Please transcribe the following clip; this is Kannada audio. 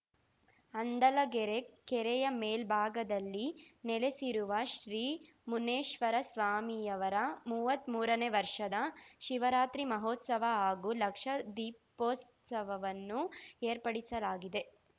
ಹಂದಲಗೆರೆ ಕೆರೆಯ ಮೇಲ್ಭಾಗದಲ್ಲಿ ನೆಲೆಸಿರುವ ಶ್ರೀ ಮುನ್ನೇಶ್ವರ ಸ್ವಾಮಿಯವರ ಮೂವತ್ಮೂರ ನೇ ವರ್ಷದ ಶಿವರಾತ್ರಿ ಮಹೋತ್ಸವ ಹಾಗೂ ಲಕ್ಷ ದೀಪೋತ್ಸವವನ್ನು ಏರ್ಪಡಿಸಲಾಗಿದೆ